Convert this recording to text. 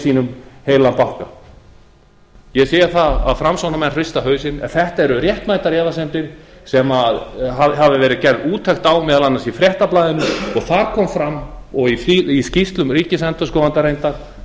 sínum heilan banka ég sé það að framsóknarmenn hrista hausinn en þetta eru réttmætar efasemdir sem hefur verið gerð úttekt á meðal annars í fréttablaðinu þar kom fram og í skýrslum ríkisendurskoðanda reyndar